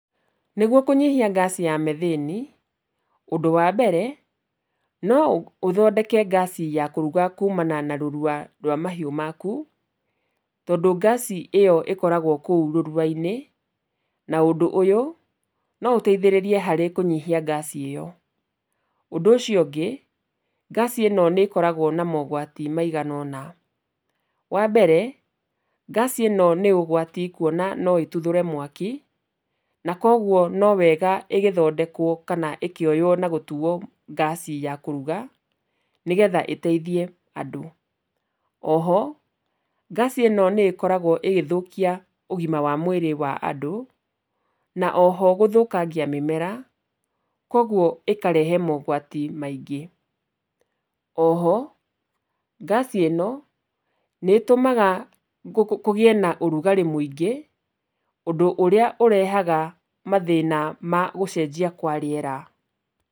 Nĩguo kũnyihia ngaci ya methĩni, ũndũ wa mbere no ũthondeke ngaci ya kũruga kuumana na rũrua rwa mahiũ maku, tondũ ngaci ĩyo ĩkoragwo kũu rũrua-inĩ, na ũndũ ũyũ no ũteithĩrĩrie harĩ kũnyihia ngaci ĩyo, ũndũ ũcio ũngĩ, ngaci ĩno nĩ ĩkoragwo na mogwati maigana ũna, wa mbere, ngaci ĩno nĩ ũgwati kuona no ĩtuthũre mwaki, na koguo no wega ĩgĩthondekwo kana ĩkĩoywo na gũtuo ngaci ya kũruga, nĩgetha ĩteithie andũ. O ho, ngaci ĩno nĩ ĩkoragwo ĩgĩthũkia ũgima wa mwĩrĩ wa andũ, na o ho gũthũkangia mĩmera, koguo ĩkarehe mogwati maingĩ. O ho, ngaci ĩno, nĩ ĩtũmaga kũgĩe na ũrugarĩ mũingĩ, ũndũ ũrĩa ũrehaga mathĩna ma gũcenjia kwa rĩera.